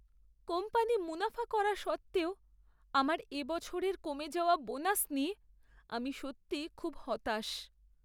Company মুনাফা করা সত্ত্বেও আমার এবছরের কমে যাওয়া বোনাস নিয়ে আমি সত্যিই খুব হতাশ।